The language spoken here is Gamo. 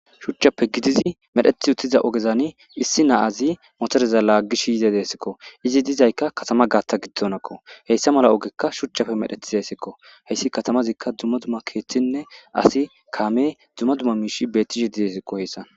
shuchchappe gidizi medhethi uttiza ogezani issi naazi motoreza laaggish yize deesikko izi dizaykka katama gaatta giddonakko heyssa mala ogekka shuchchafe medhethi zeesikko heyssi katamazikka dzumma dumma keeththinne asi kaame dzumma dumma miishi bettishe didesikko heyssan